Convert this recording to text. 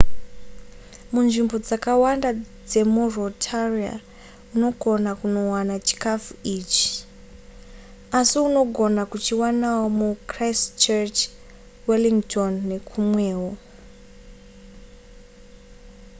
munzvimbo dzakawanda dzemurotorua unogona kunowana chikafu ichi asi unogona kuchiwanawo muchristchurch wellington nekumwewo